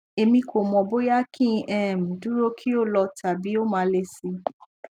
emi ko mo boya ki n um duro ki o lo tabi o ma le si